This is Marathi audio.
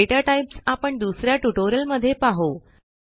दाता टाइप्स आपण दुस या ट्युटोरियलमध्ये पाहू